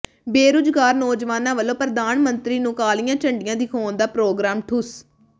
ਬੇਰੁਜ਼ਗਾਰ ਨੌਜਵਾਨਾਂ ਵੱਲੋਂ ਪ੍ਰਧਾਨ ਮੰਤਰੀ ਨੂੰ ਕਾਲੀਆਂ ਝੰਡੀਆਂ ਦਿਖਾਉਣ ਦਾ ਪ੍ਰੋਗਰਾਮ ਠੁੱਸ